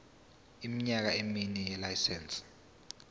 iminyaka emine yelayisense